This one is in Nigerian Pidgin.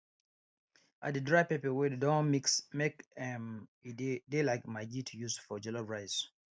i dey dry pepper wey dey don mix make um e de de like maggi to use for jollof rice